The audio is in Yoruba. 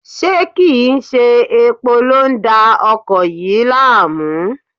Ṣé kí n ṣe epo ló ń da ọkọ̀ yìí láàmú?